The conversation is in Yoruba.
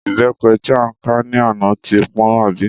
Ìbépe tí a ká ní àná ti pọ́n àbí?